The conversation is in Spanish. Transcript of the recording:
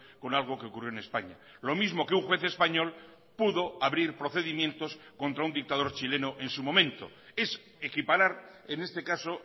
con algo que ocurrió en españa lo mismo que un juez español pudo abrir procedimientos contra un dictador chileno en su momento es equiparar en este caso